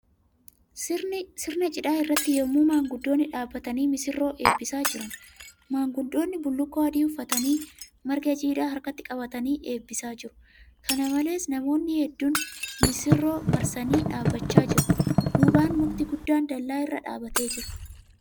Sirna cidhaa irratti yemmuu maanguddoonni dhaabbatanii misirroo eebbisaa jiran. Maanguddoonni bullukkoo adii uffatanii marga jiidhaa harkatti qabatanii eebbisaa jiru. Kana malees, namoonni hedduun misirroo marsanii dhaabbachaa jiru. Duubaan mukti guddaan dallaa irra dhaabatee jira.